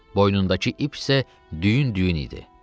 Boynundakı ip isə düyün-düyün idi.